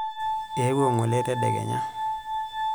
Eewuo ng'ole tedekenya.